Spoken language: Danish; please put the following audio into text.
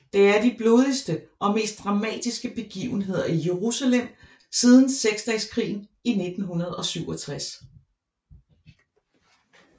Det er de blodigste og mest dramatiske begivenheder i Jerusalem siden Seksdageskrigen i 1967